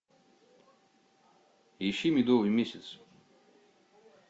ищи медовый месяц